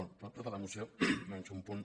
bé de tota la moció menys un punt